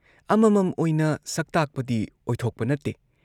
ꯑꯃꯃꯝ ꯑꯣꯏꯅ ꯁꯛꯇꯥꯛꯄꯗꯤ ꯑꯣꯏꯊꯣꯛꯄ ꯅꯠꯇꯦ ꯫